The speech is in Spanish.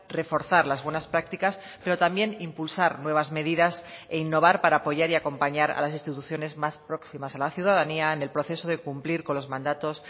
reforzar las buenas prácticas pero también impulsar nuevas medidas e innovar para apoyar y acompañar a las instituciones más próximas a la ciudadanía en el proceso de cumplir con los mandatos